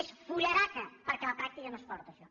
és fullaraca perquè a la pràctica no es porta això